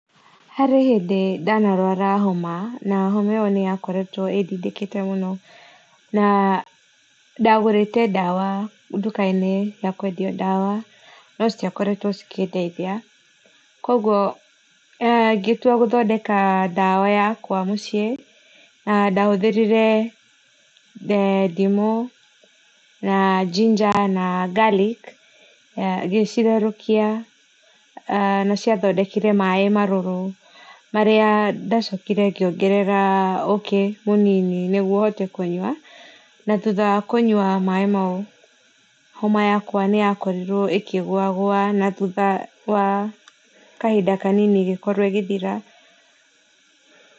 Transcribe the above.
Harĩ hĩndĩ ndanarũara homa na homa ĩyo nĩ yakoretwo ĩdĩndĩkĩte mũno na ndagũrĩte ndawa ndukainĩ ya kũendĩo dawa no citiakoretwo cikĩndeithĩa kwogwo gĩtũa gũthondeka ndawa yakwa mũciĩ, na ndahũthĩrĩre ndĩmũ na ginger na garlic gĩcitherũkĩa nĩ ciathondekĩre maĩ marũrũ, marĩa ndacokĩrere ngĩongerera ũkĩ manĩnĩ nĩgũo hote kũnyũa, na thũtha wa kũnyũa maĩ maũ homa yakwe nĩ ya korĩrwo ĩkĩgũa gũa na thutha wa kahĩnda kanĩnĩ ĩgĩkorwo ĩgĩthĩra.